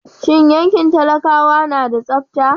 Shin yankin talakawa na da tsabta?